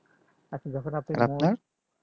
আপনার